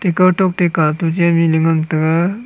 kawtok teka toje mihnu ngan tega.